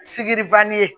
Sikiri ye